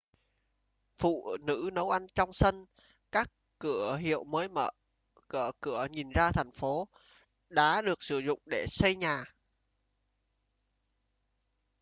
phụ nữ nấu ăn trong sân các cửa hiệu mới mở cửa nhìn ra phố đá được sử dụng để xây nhà